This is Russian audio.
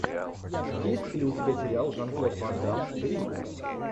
есть ли у тебя сериал жан клод ван дамм гримм